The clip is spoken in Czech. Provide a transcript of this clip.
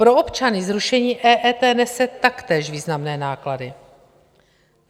Pro občany zrušení EET nese taktéž významné náklady.